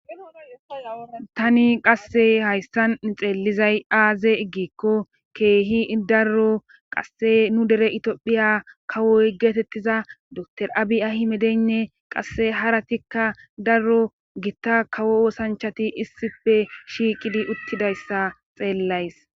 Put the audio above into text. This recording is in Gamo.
Tani qasse hayssan xeellizay aaze iggikko keehi darro qasse nu dere itophiya kawoy geetettiza dr abi ahi medeynne qasse haratikka darro gitta kawo wosanchati issife shiiqidi uttidayssa xeellays.